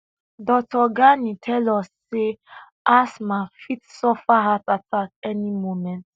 dr ghani tell us say asma fit suffer heart attack any moment